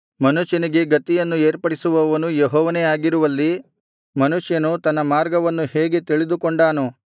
ಮನುಷ್ಯನಿಗೆ ಗತಿಯನ್ನು ಏರ್ಪಡಿಸುವವನು ಯೆಹೋವನೇ ಆಗಿರುವಲ್ಲಿ ಮನುಷ್ಯನು ತನ್ನ ಮಾರ್ಗವನ್ನು ಹೇಗೆ ತಿಳಿದುಕೊಂಡಾನು